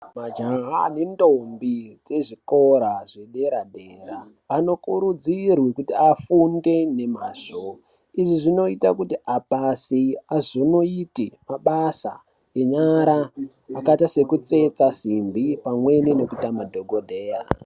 Majaha nendombi dzezvikora zvedera dera anokurudzirwa kuti afunde nemazvi. Izvi zvinoita kuti apase azonoita mabasa enyara akaita sekutsetsa simbi pamwe nekuita madhokodheya.